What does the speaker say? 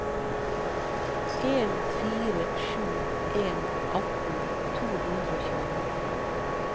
en fire sju en atten to hundre og tjueni